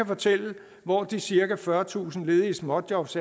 fortælle hvor de cirka fyrretusind ledige småjobs